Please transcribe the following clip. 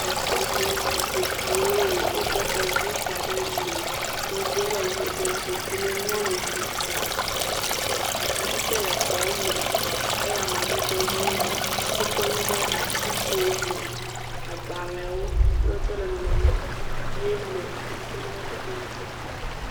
Exɔme. Zikpiwo le, wokɔ kɔzui da ɖe me. kɔzuie le ʋii ɖe. Zikpimenuwo le ʋibɔ. Akaɖitsɛ le xɔme. Ele amadede ʋee me. Wokɔ nu de atsigo me. Agblẽwo, yewo tse le nɔnɔme yee me si ken a be teƒeɛ nyakpɔ.